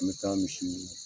An bɛ taa misi